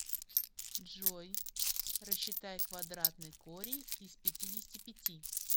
джой рассчитай квадратный корень из пятидесяти пяти